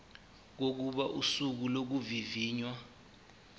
kokuba usuku lokuvivinywa